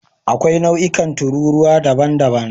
Akwai nau'ikan tururuwa daban-daban.